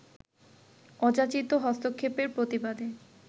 অযাচিত হস্তক্ষেপের প্রতিবাদে